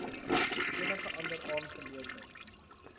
enige ander aangeleentheid